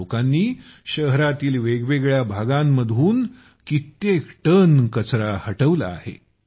या लोकांनी शहरातील वेगवेगळ्या भागांतून कित्येक टन कचरा हटवला आहे